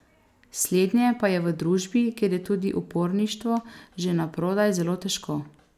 Slednje pa je v družbi, kjer je tudi uporništvo že naprodaj, zelo težko.